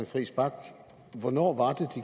friis bach hvornår